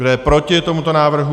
Kdo je proti tomuto návrhu?